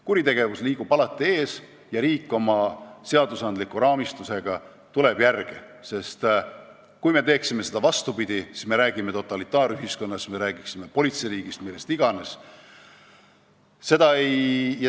Kuritegevus liigub alati ees ja riik oma seadusraamistusega tuleb järele, sest kui me teeksime vastupidi, siis me räägiksime totalitaarühiskonnast, siis me räägiksime politseiriigist, millest iganes.